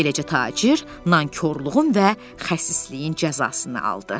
Beləcə tacir nankorluğun və xəsisliyin cəzasını aldı.